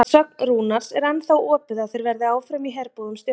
Að sögn Rúnars er ennþá opið að þeir verði áfram í herbúðum Stjörnunnar.